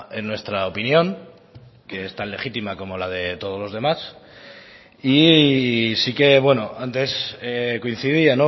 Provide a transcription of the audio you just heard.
en nuestra opinión que es tan legítima como la de todos los demás y sí que antes coincidía